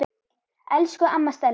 Elsku amma Stella.